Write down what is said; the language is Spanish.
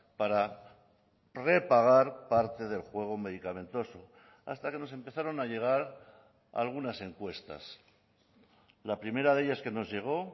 para repagar parte del juego medicamentoso hasta que nos empezaron a llegar algunas encuestas la primera de ellas que nos llegó